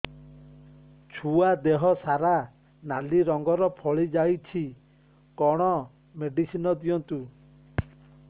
ଛୁଆ ଦେହ ସାରା ନାଲି ରଙ୍ଗର ଫଳି ଯାଇଛି କଣ ମେଡିସିନ ଦିଅନ୍ତୁ